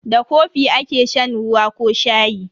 Da kofi ake shan ruwa ko shayi.